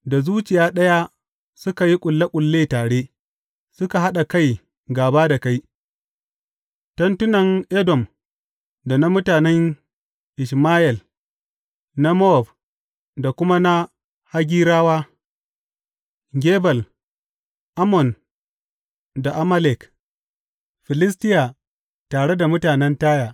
Da zuciya ɗaya suka yi ƙulle ƙulle tare; suka haɗa kai gāba da kai, tentunan Edom da na mutanen Ishmayel, na Mowab da kuma na Hagirawa, Gebal, Ammon da Amalek, Filistiya, tare da mutanen Taya.